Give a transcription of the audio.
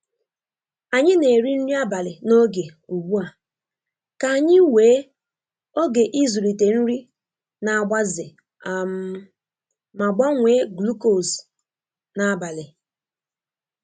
Anyi na eri nri abali n'oge ụgbu a ,ka anyi wee oge izulite nri na agbaze um ma gbanwe glucose n'abali